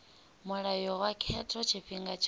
mulayo wa khetho tshifhinga tshothe